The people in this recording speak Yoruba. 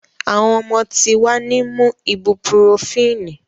Awọn omo ti wa ni mu ibupurofínì